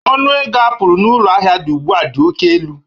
Ọnụ ego apụl na ụlọ ahịa dị ugbu a dị oke elu